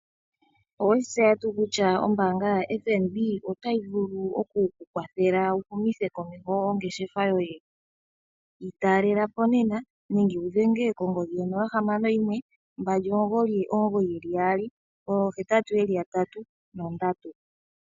Oweshi tseya tuu kutya ombaanga yo FNB otayi vulu okuku kwathela wu humithe komeho ongeshefa yoye? Yi talelapo nena nenge wu dhenge kongodhi yo 0612998883.